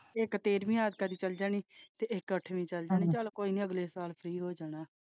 ਇੱਕ ਤੇਰ੍ਹਵੀਂ ਚੱਲੀ ਜਾਣੀ ਇੱਕ ਅੱਠਵੀ ਚੱਲੀ ਜਾਣੀ ਚੱਲ ਕੋਈ ਨਾ ਅਗਲੇ ਸਾਲ ਫ੍ਰੀ ਹੋ ਜਾਣਾ।